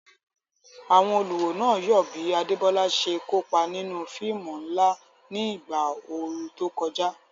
Àwọn olùwò náà yọ̀ bí Adebola ṣe kópa nínú fíìmù ńlá ní ìgbà ooru tó kọjá.